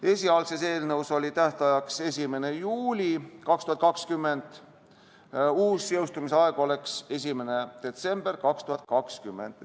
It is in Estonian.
Esialgses eelnõus oli tähtajaks 1. juuli 2020, uus jõustumise aeg oleks 1. detsember 2020.